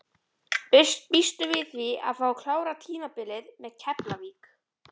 Býstu við því að fá að klára tímabilið með Keflavík?